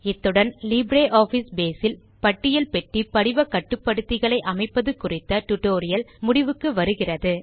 இத்துடன் LibreOffice base இல் பட்டியல் பெட்டி கட்டுப்படுத்திகளை அமைப்பது குறித்த டியூட்டோரியல் முடிவுக்கு வருகிறது